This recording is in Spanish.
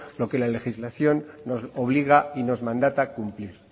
lo que la legislación nos obliga y nos mandata cumplir